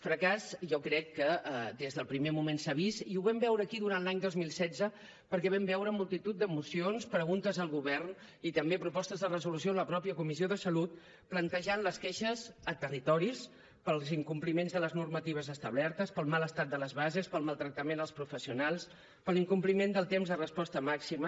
fracàs jo crec que des del primer moment s’ha vist i ho vam veure aquí durant l’any dos mil setze perquè vam veure multitud de mocions preguntes al govern i també propostes de resolució en la mateixa comissió de salut que plantejaven les queixes a territoris pels incompliments de les normatives establertes pel mal estat de les bases pel maltractament als professionals per l’incompliment del temps de resposta màxima